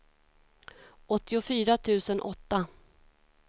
åttiofyra tusen åtta